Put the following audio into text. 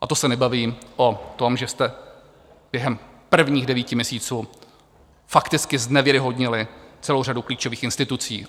A to se nebavím o tom, že jste během prvních devíti měsíců fakticky znevěrohodnili celou řadu klíčových institucí.